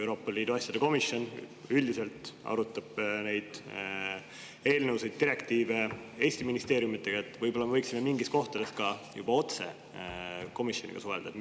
Euroopa Liidu asjade komisjon arutab eelnõusid ja direktiive üldiselt Eesti ministeeriumidega, aga võib-olla me võiksime mingites kohtades ka otse komisjoniga suhelda?